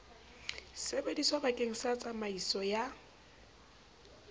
sebediswa bakeng sa tsamaiso ya